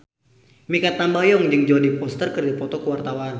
Mikha Tambayong jeung Jodie Foster keur dipoto ku wartawan